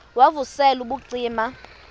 wav usel ubucima